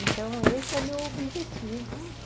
Então, esse é o meu objetivo.